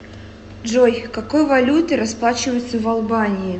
джой какой валютой расплачиваются в албании